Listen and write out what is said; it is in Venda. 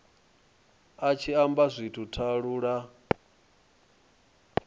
a tshi amba zwithu talula